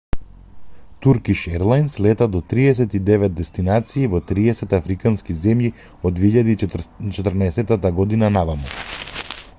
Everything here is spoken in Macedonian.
туркиш ерлајнс лета до 39 дестинации во 30 африкански земји од 2014 година наваму